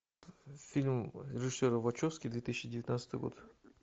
фильм режиссера вачовски две тысячи девятнадцатый год